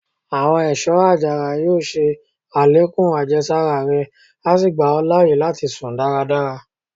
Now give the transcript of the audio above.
Àwọn èsó àjàrà yóò ṣe àlékún àjẹsára rẹ, a sí gba ọ láàyè láti sùn dáradára.